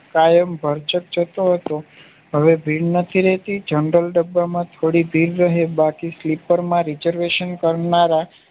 કાયમ ભરચક જતો હતો હવે ભીડ નથી રહેતી જનરલ ડબ્બામાંથી થોડી ભીડ રહે બાકી સ્લીપરમા reservation કરનારા